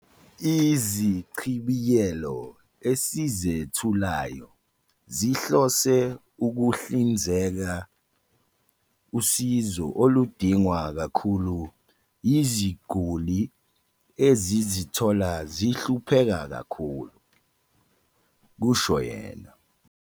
"Izichibiyelo esizethulayo zihlose ukuhlinzeka usizo oludingwa kakhulu yiziguli ezizithola zihlupheka kakhulu," kusho yena.